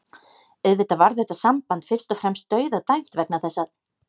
Auðvitað var þetta samband fyrst og fremst dauðadæmt vegna þess að